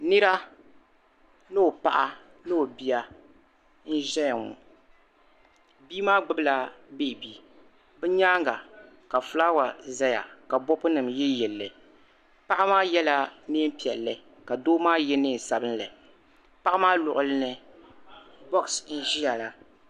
Nira ni o paɣa ni o bia n-zaya ŋɔ bia maa gbibila beebi bɛ nyaaŋga ka fulaawa zaya ka kopunima yiliyili li paɣa maa yɛla neem' piɛlli ka doo maa ye neen' sabilinli paɣa maa luɣili ni bɔɣisi n-ʒia la.